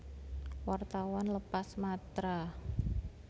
Wartawan lepas Matra